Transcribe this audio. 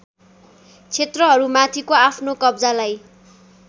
क्षेत्रहरूमाथिको आफ्नो कब्जालाई